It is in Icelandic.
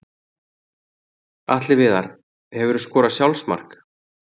Atli Viðar Hefurðu skorað sjálfsmark?